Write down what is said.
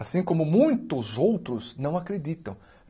Assim como muitos outros não acreditam.